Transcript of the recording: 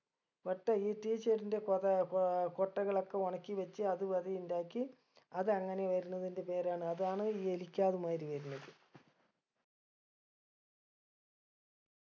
ഒറ്റ ഈ tea ചെടിൻറെ കൊതെ ഏർ കൊട്ടകളൊക്കെ ഒണക്കി വച്ച് അത് വെത ഇണ്ടാക്കി അത് അങ്ങനെ വരണതിൻറെ പേരാണ് അതാണ് ഈ എലിക്കാത് മാതിരി വരുന്നത്